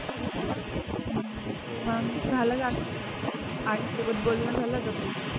हम्म हो आम्हाला गोष्ट आई सोबत बोलणं झालं का काही.